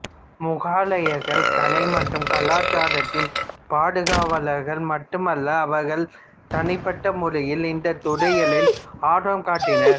முகலாயர்கள் கலை மற்றும் கலாச்சாரத்தின் பாதுகாவலர்கள் மட்டுமல்ல அவர்கள் தனிப்பட்ட முறையில் இந்தத் துறைகளிலும் ஆர்வம் காட்டினர்